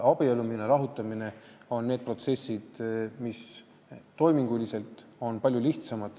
Abiellumine ja lahutamine on toiminguliselt palju lihtsamad.